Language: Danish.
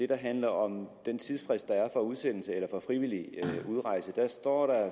der handler om den tidsfrist der er for udsendelse eller for frivillig udrejse der står der